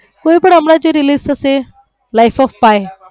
કોઈ પણ હમણાં જે release થશે life of pine